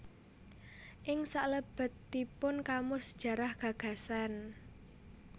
Ing salebetipun Kamus Sajarah Gagasan